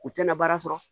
U tɛna baara sɔrɔ